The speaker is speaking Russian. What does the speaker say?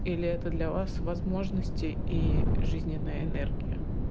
или это для вас возможности и жизненная энергия